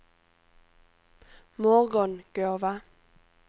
Morgongåva